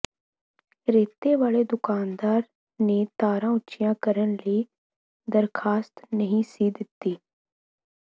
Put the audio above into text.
ਰੇਤੇ ਵਾਲੇ ਦੁਕਾਨਦਾਰ ਨੇ ਤਾਰਾਂ ਉੱਚੀਆਂ ਕਰਨ ਲਈ ਦਰਖਾਸਤ ਨਹੀਂ ਸੀ ਦਿੱਤੀ